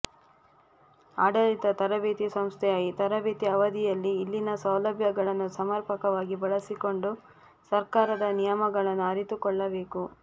ಆಡಳಿತ ತರಬೇತಿ ಸಂಸ್ಥೆಯ ಈ ತರಬೇತಿ ಅವಧಿಯಲ್ಲಿ ಇಲ್ಲಿನ ಸೌಲಭ್ಯಗಳನ್ನು ಸಮರ್ಪಕವಾಗಿ ಬಳಸಿಕೊಂಡು ಸರ್ಕಾರದ ನಿಯಮಗಳನ್ನು ಅರಿತುಕೊಳ್ಳಬೇಕು